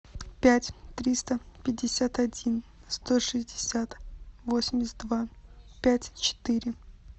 пять триста пятьдесят один сто шестьдесят восемьдесят два пять четыре